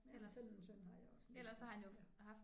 Ja sådan en søn har jeg også næsten ja